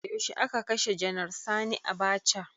Yaushe a ka kashe janar sani Abacha?